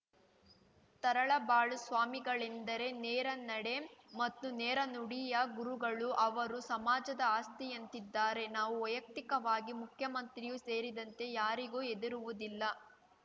ತರಳಬಾಳು ಸ್ವಾಮಿಗಳೆಂದರೆ ನೇರ ನಡೆ ಮತ್ತು ನೇರ ನುಡಿಯ ಗುರುಗಳು ಅವರು ಸಮಾಜದ ಆಸ್ತಿಯಂತಿದ್ದಾರೆ ನಾನು ವೈಯುಕ್ತಿಕವಾಗಿ ಮುಖ್ಯಮಂತ್ರಿಯೂ ಸೇರಿದಂತೆ ಯಾರಿಗೂ ಹೆದರುವುದಿಲ್ಲ